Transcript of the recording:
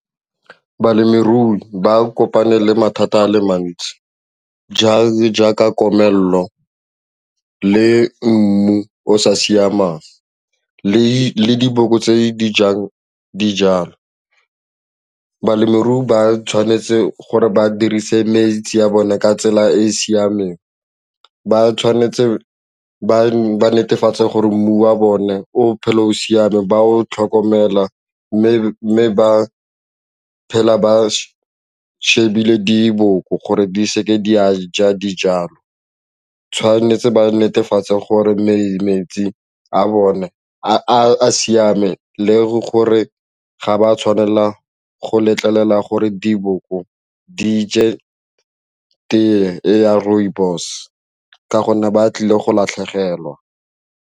Balemirui ba kopane le mathata a le mantsi jaaka komelelo le mmu o o sa siamang le le diboko tse di jang dijalo. Balemirui ba tshwanetse gore ba dirise metsi ya bone ka tsela e e siameng, ba tshwanetse ba netefatse gore mmu wa bone o phele o siame ba o tlhokomela mme ba phela ba shebile diboko gore di seke di a ja dijalo tshwanetse ba netefatse gore metsi a bone a siameng le gore ga ba tshwanela go letlelela gore diboko di je tee e ya rooibos ka gonne ba tlile go latlhegelwa.